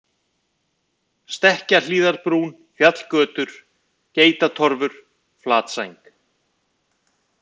Stekkjarhlíðarbrún, Fjallgötur, Geitatorfur, Flatsæng